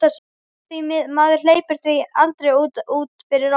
Af því maður hleypir því aldrei út fyrir rammann.